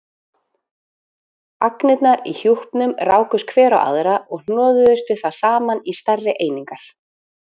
Agnirnar í hjúpnum rákust hver á aðra og hnoðuðust við það saman í stærri einingar.